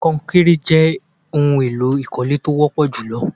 Konkéré jé ohun èlò ìkọ́lé tó wọ́pọ̀ jù lọ.